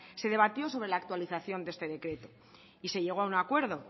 se debatió sobre la actualización de este decreto y se llegó a un acuerdo